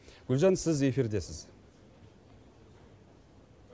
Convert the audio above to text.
гүлжан сіз эфирдесіз